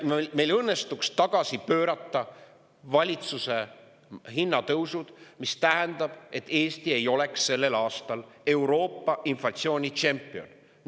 Kui meil õnnestuks tagasi pöörata valitsuse hinnatõusud, siis see tähendaks, et Eesti ei oleks sellel aastal Euroopa inflatsioonitšempion.